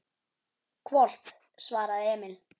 Hvolp, svaraði Emil.